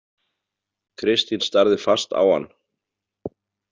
Kristín starði fast á hann.